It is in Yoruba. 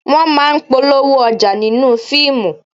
Wọ́n máa ń polówó ọjà nínú fíìmù